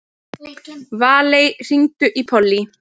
Valey, hringdu í Pollý.